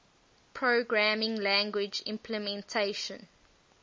programming language implementation